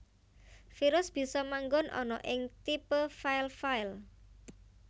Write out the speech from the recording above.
Virus bisa manggon ana ing tipe file file